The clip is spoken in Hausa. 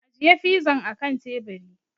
Ajiye fizan a kan teburi!